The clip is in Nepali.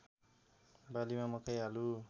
बालीमा मकै आलु